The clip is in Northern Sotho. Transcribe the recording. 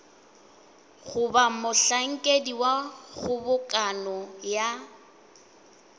goba mohlankedi wa kgobokano ya